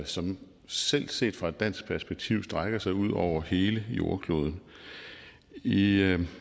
som selv set fra et dansk perspektiv strækker sig ud over hele jordkloden i